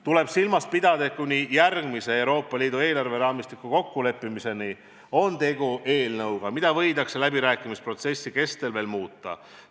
Tuleb silmas pidada, et kuni järgmise Euroopa Liidu eelarveraamistiku kokkuleppimiseni on tegu eelnõuga, mida võidakse läbirääkimisprotsessi kestel veel muuta.